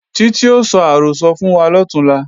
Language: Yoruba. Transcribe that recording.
Títí ó sọ àrọ́sọ fún wa lọ̀túnla